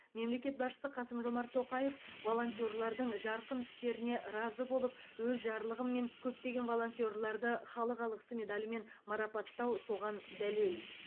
мемлекет басшысы қасым жомарт тоқаев волонтерлардың жарқын істеріне разы болып өз жарлығыммен көптеген волонтерларды халық алғысы медалімен марапаттау соған дәлел